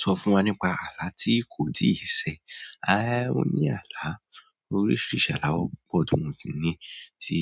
Sọ fún wa nípa àlá tí kò tíì ṣẹ. Mo ní àlá, oríṣiríṣi àlá ó pọ̀ tí mo tí ní tí